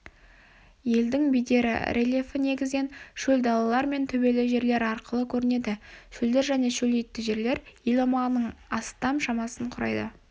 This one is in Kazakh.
елдің бедері рельефі негізінен шөл далалар мен төбелі жерлер арқылы көрінеді шөлдер және шөлейтті жерлер ел аумағының астам шамасын құрайды